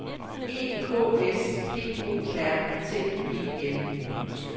E K S P O R T E N